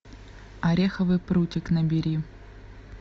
ореховый прутик набери